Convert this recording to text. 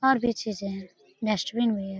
और भी चीजें हैं डस्टबीन भी है।